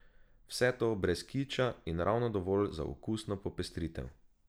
Vse to brez kiča in ravno dovolj za okusno popestritev.